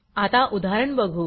आता उदाहरण बघू